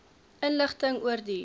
inligting oor die